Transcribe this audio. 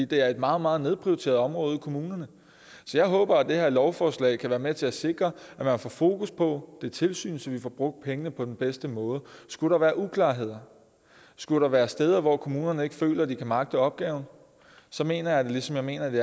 det er et meget meget nedprioriteret område ude i kommunerne så jeg håber at det her lovforslag kan være med til at sikre at man får fokus på det tilsyn så vi får brugt pengene på den bedste måde skulle der være uklarheder skulle der være steder hvor kommunerne ikke føler at de kan magte opgaven så mener jeg ligesom jeg mener det